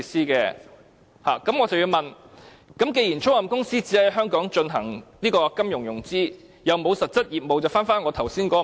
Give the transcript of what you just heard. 既然租賃公司只在香港進行金融融資，又沒有實質業務，那麼，就回到我剛才的問題。